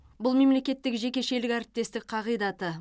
бұл мемлекеттік жекешелік әріптестік қағидаты